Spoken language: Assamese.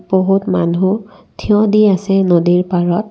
বহুত মানুহ থিয় দি আছে নদীৰ পাৰত।